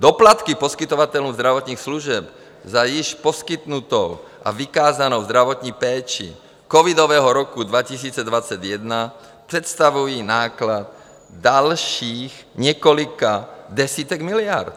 Doplatky poskytovatelům zdravotních služeb za již poskytnutou a vykázanou zdravotní péči covidového roku 2021 představují náklad dalších několika desítek miliard.